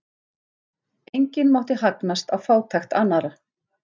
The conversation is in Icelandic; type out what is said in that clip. Enginn mátti hagnast á fátækt annarra.